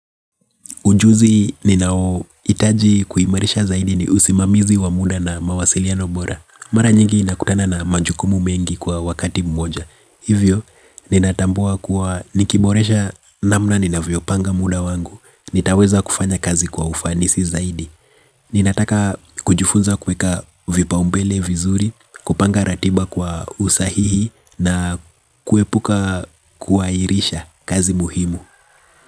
Ujuzi ninaohitaji kuimarisha zaidi ni usimamizi wa muda na mawasiliano bora. Mara nyingi nakutana na majukumu mengi kwa wakati mmoja. Hivyo, ninatambua kuwa nikiboresha namna ninavyo panga muda wangu. Nitaweza kufanya kazi kwa ufanisi zaidi. Ninataka kujifunza kuweka vipaumbele vizuri, kupanga ratiba kwa usahihi na kuepuka kuairisha kazi muhimu.